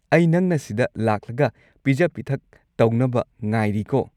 ꯑꯩ ꯅꯪꯅ ꯁꯤꯗ ꯂꯥꯛꯂꯒ ꯄꯤꯖ-ꯄꯤꯊꯛ ꯇꯧꯅꯕ ꯉꯥꯏꯔꯤꯀꯣ꯫